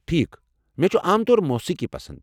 ٹھیٖکھ، مےٚ چھُ عام طور موسیٖقی پسند۔